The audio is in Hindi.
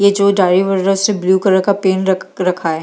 ये जो डायरी वगैरा से ब्लू कलर का पेन रक रखा है।